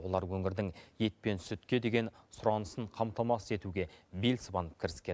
олар өңірдің ет пен сүтке деген сұранысын қамтамасыз етуге бел сыбанып кіріскен